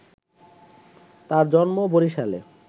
তার জন্ম বরিশালে